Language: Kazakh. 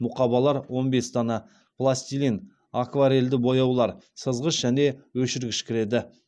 мұқабалар он бес дана пластилин акварельді бояулар сызғыш және өшіргіш кіреді